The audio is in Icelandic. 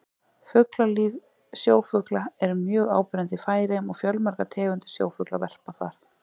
Fuglalíf Sjófuglar eru mjög áberandi í Færeyjum og fjölmargar tegundir sjófugla verpa þar.